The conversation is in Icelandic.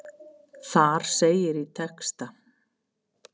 Þar segir í texta.